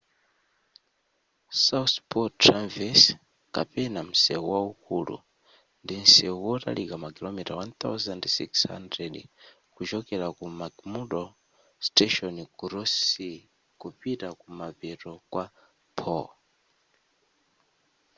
south pole traverse kapena msewu waukulu ndi msewu wotalika makilomita 1600 kuchokera ku mcmurdo station ku ross sea kupita kumapeto kwa pole